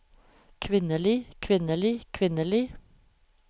kvinnelige kvinnelige kvinnelige